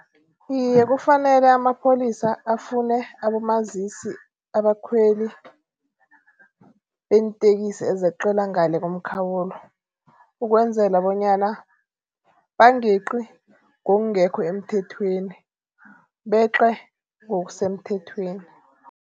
Iye kufanele amapholisa afune abomazisi abakhweli beentekisi ezeqela ngale komkhawulo. Ukwenzela bonyana bangeqi ngokungekho emthethweni beqe ngokusemthethweni.